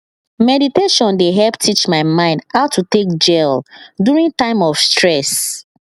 meditation dey help teach my mind how to take gel during time of stress